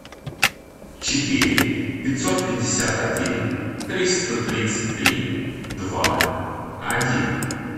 четыре пятьсот пятьдесят один триста тридцать три два один